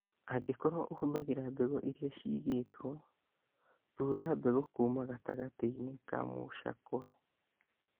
Angĩkorũo ũhũthagĩra mbegũ iria ciigĩtwo, thuura mbegũ kuuma gatagatĩ-inĩ ka mũcakwe.